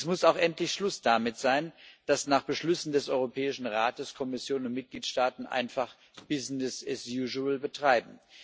Es muss auch endlich Schluss damit sein, dass nach Beschlüssen des Europäischen Rates Kommission und Mitgliedstaaten einfach Business as usual betreiben.